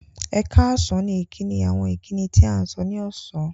Ẹ̀kààsán ni ìkíni àwọn ìkíni tí à sọ̀ ní ọṣán